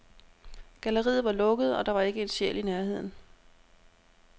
Galleriet var lukket, og der var ikke en sjæl i nærheden.